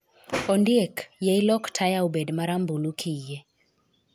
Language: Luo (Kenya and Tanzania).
Ondiek, yie ilok taya obed marambulu, kiyie.